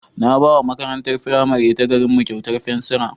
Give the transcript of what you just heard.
Na ba wa makarantar firamare ta garinmu kyautar fensira.